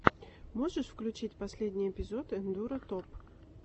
можешь включить последний эпизод эндуро топ